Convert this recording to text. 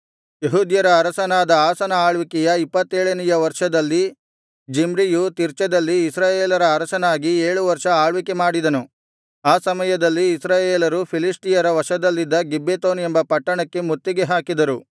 ಯೆಹೂದ್ಯರ ಅರಸನಾದ ಆಸನ ಆಳ್ವಿಕೆಯ ಇಪ್ಪತ್ತೇಳನೆಯ ವರ್ಷದಲ್ಲಿ ಜಿಮ್ರಿಯು ತಿರ್ಚದಲ್ಲಿ ಇಸ್ರಾಯೇಲರ ಅರಸನಾಗಿ ಏಳು ವರ್ಷ ಆಳ್ವಿಕೆ ಮಾಡಿದನು ಆ ಸಮಯದಲ್ಲಿ ಇಸ್ರಾಯೇಲರು ಫಿಲಿಷ್ಟಿಯರ ವಶದಲ್ಲಿದ್ದ ಗಿಬ್ಬೆತೋನ್ ಎಂಬ ಪಟ್ಟಣಕ್ಕೆ ಮುತ್ತಿಗೆ ಹಾಕಿದ್ದರು